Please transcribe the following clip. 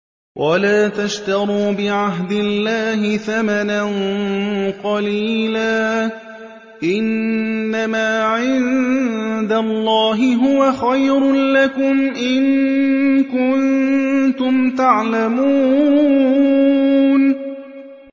وَلَا تَشْتَرُوا بِعَهْدِ اللَّهِ ثَمَنًا قَلِيلًا ۚ إِنَّمَا عِندَ اللَّهِ هُوَ خَيْرٌ لَّكُمْ إِن كُنتُمْ تَعْلَمُونَ